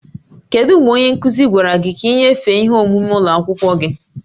Kedu mgbe onye nkuzi gwara gị ka ị nyefee ihe omume ụlọ akwụkwọ gị?